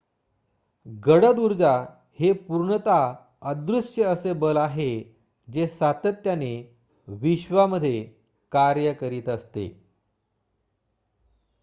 गडद उर्जा हे पूर्णतः अदृश्य असे बल आहे जे सातत्याने विश्वामध्ये कार्य करीत असते